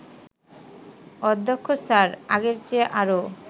অধ্যক্ষ স্যার আগের চেয়ে আরও